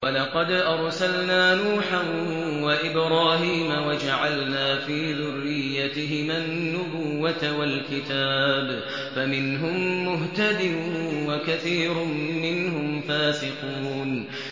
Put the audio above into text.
وَلَقَدْ أَرْسَلْنَا نُوحًا وَإِبْرَاهِيمَ وَجَعَلْنَا فِي ذُرِّيَّتِهِمَا النُّبُوَّةَ وَالْكِتَابَ ۖ فَمِنْهُم مُّهْتَدٍ ۖ وَكَثِيرٌ مِّنْهُمْ فَاسِقُونَ